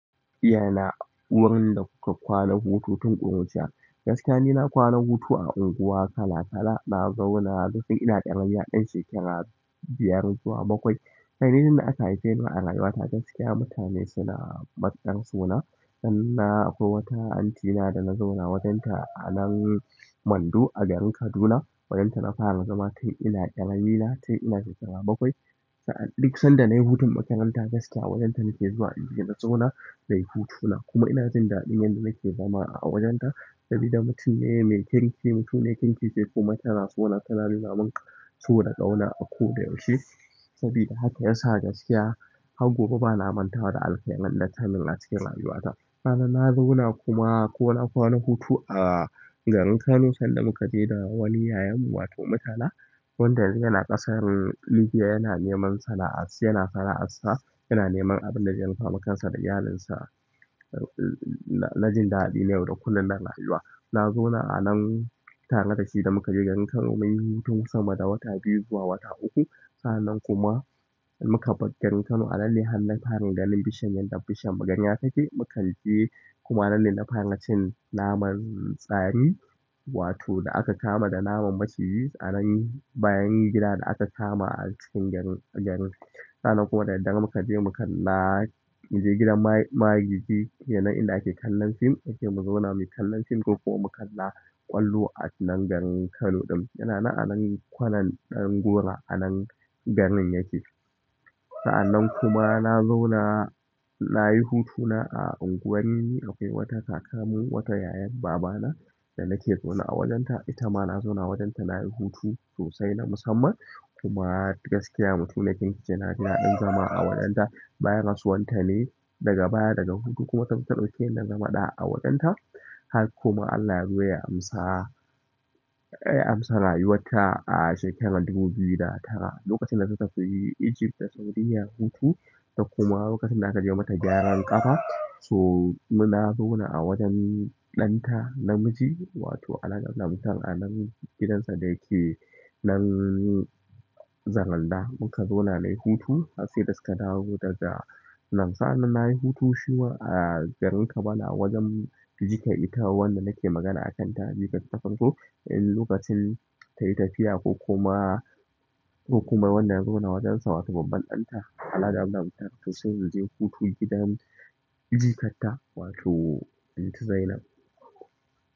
Ya na wurin da kuka kwana hutu tun tu ƙuruciya? Gaskiya ni na kwana hutu a unguwa kala kala, na zauna lokacin ina ɗan shekara biyar zuwa bakwai. Kai ni da aka haife ni a rayuwa ta gaskiya mutane suna baƙar so na. Sannan akwai wata aunty na da na zauna a wajen ta a nan Mandu a garin Kaduna. Wajen ta na fara zama, tun ina ƙaramina, tun ina shekara bakwai. Sa'ad da duk sanda nayi hutun makaranta gaskiya wajen ta nake zuwa inje na zauna nayi hutuna. Kuma ina jin daɗin yanda nake zama a wajen ta. Sabida mutum ne mai kirki, mutuniyar kirki ce, kuma tana so na tana nuna min so da ƙauna a ko da yaushe. Sabida haka yasa gaskiya har gobe bana mantawa da alkairan da tayi min a cikin rayuwa ta. Sa'anan na zauna kuma ko na kwana hutu a garin Kano sannan muka je da wani yayan mu wato mutala. Wanda yanzu yanacƙasar Libya yana neman sana'ar, yana sana'arsa, yana neman abin da zai rufa ma kansa da iyalinsa. Na jin daɗi na yau da kullum na rayuwa. Na zauna a nan tare da shi da muka je garin Kano da muka yi hutun sama da wata biyu zuwa wata uku. Sa'annan kuma muka bar garin Kano a nan ne har na fara ganin bishiyan, yanda bishiyan magarya take. Mu kan je kuma a nan ne na fara cin naman fari, wato da aka kama da naman maciji a nan bayan gidan da aka kama a cikin garin, garin. Sa'anan kuma da daddare muka je mu kalla, mu je gidan magiji kenan inda ake kallon fim, muje mu zauna muyi kallon fim ko kuma mu kalla ƙwallo a cikin nan garin Kano ɗin. Yana nan anan kwanan ɗan gora a nan garin yake. Sa'anan kuma na zauna, nayi hutuna a unguwar, akwai wata kakarmu, wata yayan baba na da nake zaune a wajen ta. Ita ma na zauna a wajen ta nayi hutu sosai na musamman. Kuma gaskiya mutuniyar kirkice na ji daɗin zama a wurin ta bayan rasuwan ta ne daga baya, daga hutu kuma ta zo ta ɗauke ni na zama ɗa a wajen ta. Har kuma Allah ya zo ya amsa, ya amsa rayuwar ta a shekarar dubu biyu da goma sha tara. Lokacin da ta tafi Egypt da Saudiyya hutu, da kuma lokacin da a ka je mata gyaran ƙafa. So ni na zauna a wajen ɗan ta namiji, wato alhaji Abdullahi Mutal a nan gidansa da yake nan Zaranda. Muka zauna nayi hutu har sai da suka dawo daga. Nan sa'ia nayi hutun shi ma a garin Kabala a wajen jika ita wanda nake magana a kan ta. Jikar ta ta farko, in lokacin tayi tafiya ko kuma, ko kuma wanda na zauna a wajen sa wato babban ɗan ta, Alhaji Abdullahi Mutal, to sai mu je hutu gidan jikar ta wato anty Zainab.